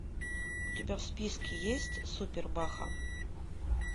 у тебя в списке есть супер баха